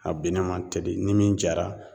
A bennen ma teli ni min jara